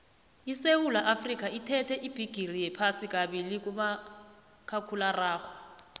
isewula afrikha ithethe ubhigiri wephasi kabili kumakhakhulararhwe